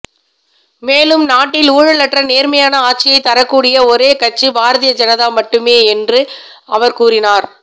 மேலும் நாட்டில் ஊழலற்ற நேர்மையான ஆட்சியை தரக்கூடிய ஒரே கட்சி பாரதிய ஜனதா மட்டுமே என்றும் அவர் கூறினார்